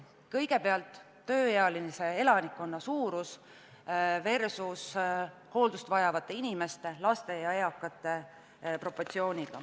Kõigepealt, tööealise elanikkonna suurus versus hooldust vajavate inimeste, laste ja eakate arv.